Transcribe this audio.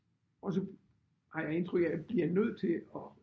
Også har jeg indtryk af bliver nødt til at